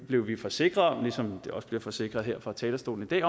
blev vi forsikret om ligesom vi også bliver forsikret her fra talerstolen i dag